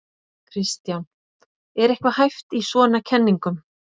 Kristján: Er eitthvað hæft í svona kenningum?